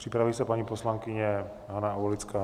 Připraví se paní poslankyně Hana Aulická.